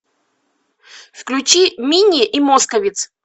включи минни и московитц